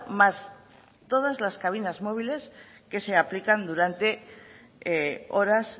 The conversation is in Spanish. más todas las cabinas móviles que se aplican durante horas